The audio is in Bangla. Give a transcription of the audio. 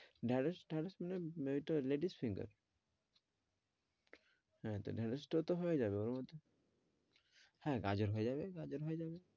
ঢেঁড়স, ঢেঁড়স মানে ওই তো ladies finger হ্যাঁ তো ঢেঁড়স টা তো হয়েযাবে হ্যাঁ গাজর হয়ে যাবে গাজর হয়ে যাবে,